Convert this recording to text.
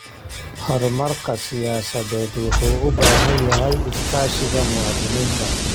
Horumarka siyaasadeed wuxuu u baahan yahay iskaashiga muwaadiniinta.